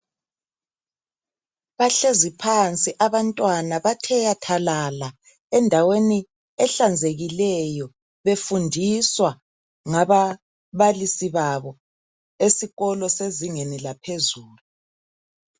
Bahlezi phansi abantwana bathe wathalala endaweni ehlanzekileyo befundiswa ngababalisi babo esikolo sezingeni laphezulu.